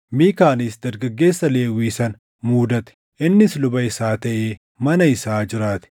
Miikaanis dargaggeessa Lewwii sana muudate; innis luba isaa taʼee mana isaa jiraate.